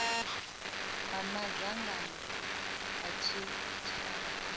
ha madzangano a tshitshavha kha